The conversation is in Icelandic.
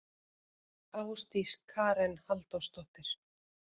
Ásdís Karen Halldórsdóttir.